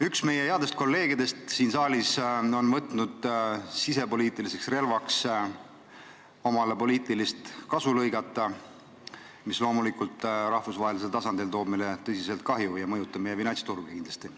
Üks meie headest kolleegidest siin saalis on otsustanud sisepoliitilist relva kasutades omale poliitilist kasu lõigata, kuigi see rahvusvahelisel tasandil toob riigile tõsist kahju ja mõjutab meie finantsturge kindlasti.